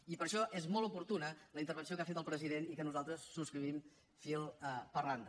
i per això és molt oportuna la intervenció que ha fet el president i que nosaltres subscrivim fil per randa